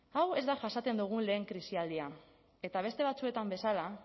hau ez da jasaten dugun lehen krisialdia eta beste batzuetan bezala